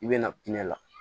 I bɛ na la